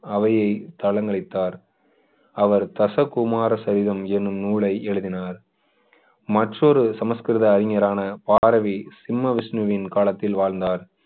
அவையை தளங்களித்தார் அவர் தசகுமார சரிதம் என்னும் நூலை எழுதினார் மற்றொரு சமஸ்கிருத அறிஞரான பாரவி சிம்ம விஷ்ணுவின் காலத்தில் வாழ்ந்தார்